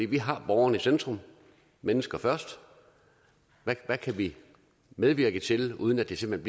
vi har borgerne i centrum mennesker først hvad kan vi medvirke til uden at det simpelt